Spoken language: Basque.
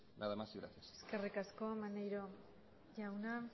nada más y gracias eskerrik asko maneiro jauna